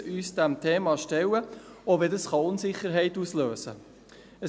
Wir müssen uns diesem Thema stellen, auch wenn dies Unsicherheit auslösen kann.